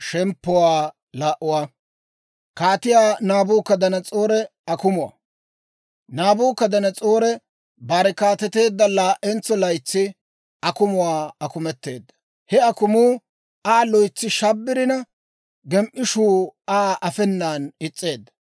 Naabukadanas'oori bare kaateteedda laa"entso laytsi akumuwaa akumetteedda. He akumuu Aa loytsi shabbirina, gem"ishuu Aa afeenan is's'eedda.